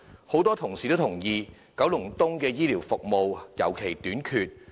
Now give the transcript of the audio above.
很多同事都認同九龍東的醫療服務尤其短缺。